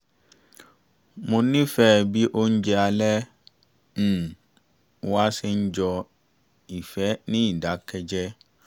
mo nífẹ̀ẹ́ bí oúnjẹ alẹ́ um wa ṣe ń jọ ìfẹ́ ní ìdákẹ́jẹ